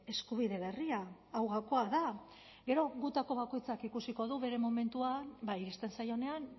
eskubide berria hau gakoa da gero gutako bakoitzak ikusiko du bere momentua iristen zaionean